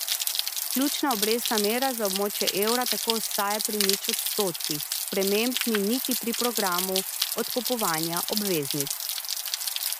Ključna obrestna mera za območje evra tako ostaja pri nič odstotkih, sprememb ni niti pri programu odkupovanja obveznic.